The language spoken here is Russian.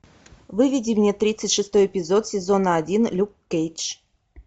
выведи мне тридцать шестой эпизод сезона один люк кейдж